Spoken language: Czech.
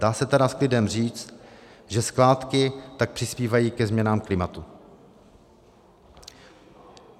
Dá se tedy s klidem říct, že skládky tak přispívají ke změnám klimatu.